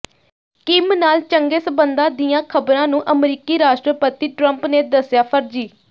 Kim ਨਾਲ ਚੰਗੇ ਸੰਬੰਧਾਂ ਦੀਆਂ ਖਬਰਾਂ ਨੂੰ ਅਮਰੀਕੀ ਰਾਸ਼ਟਰਪਤੀ ਟਰੰਪ ਨੇ ਦੱਸਿਆ ਫਰਜੀ